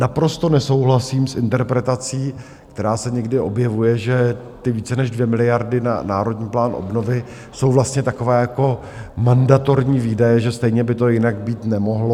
Naprosto nesouhlasím s interpretací, která se někdy objevuje, že ty více než 2 miliardy na Národní plán obnovy jsou vlastně takové jako mandatorní výdaje, že stejně by to jinak být nemohlo.